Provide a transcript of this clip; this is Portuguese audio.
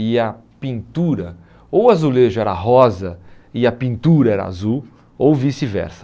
e a pintura, ou o azulejo era rosa e a pintura era azul, ou vice-versa.